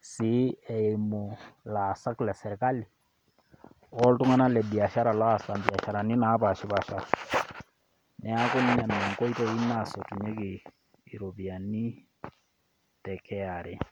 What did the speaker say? sii eimu ilaasak le serkali o iltung'ana le biashara naasita imbiasharani napaashipaasha, neaku nena inkoitoi naasotunyeki iropiani te KRA.